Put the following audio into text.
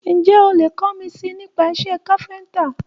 Ǹjẹ́ o lè kọ́ mi si nípa iṣé káfíńtà?